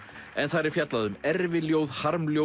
en þar er fjallað erfiljóð